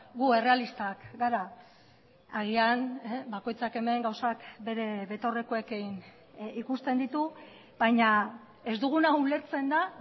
gu errealistak gara agian bakoitzak hemen gauzak bere betaurrekoekin ikusten ditu baina ez duguna ulertzen da